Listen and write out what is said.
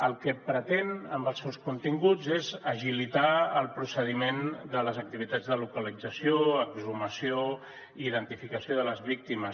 el que pretén amb els seus continguts és agilitar el procediment de les activitats de localització exhumació i identificació de les víctimes